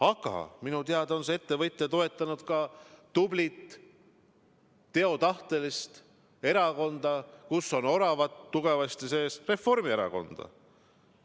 Aga minu teada on see ettevõtja toetanud ka tublit teotahtelist erakonda, kus on oravad – Reformierakonda.